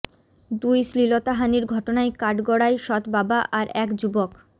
দুই শ্লীলতাহানির ঘটনায় কাঠগড়ায় সৎ বাবা আর এক যুবক